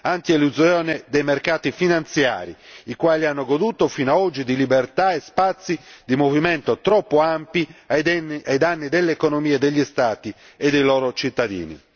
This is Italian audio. antielusione dei mercati finanziari, i quali hanno goduto fino ad oggi di libertà e spazi di movimento troppo ampi ai danni delle economie degli Stati e dei loro cittadini.